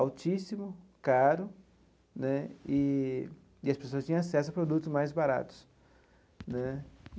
altíssimo, caro né, e e as pessoas tinham acesso a produtos mais baratos né.